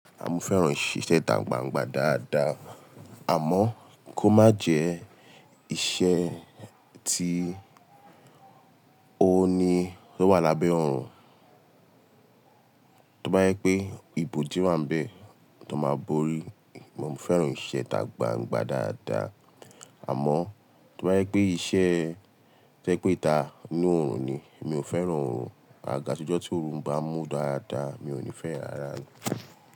À mo fèrán ìṣe ìtà gbangba dáadáa, àmọ́ kó má jẹ ìṣe tí ó ní tó wà lábẹ́ oòrùn. Tí ó bá yẹ pé ibòdí wà n bẹ̀, tó má bori. À mo fèrán ìṣe ìtà gbangba dáadáa, àmọ́ tí ó bá yẹ pé iṣẹ́ to ẹ pé ita inu oòrùn ni, mi ò fẹ́ràn oòrùn. Àga to jọ́ tí oòrùn bá mú dáadáa, mi ò ní fẹ́ rà á.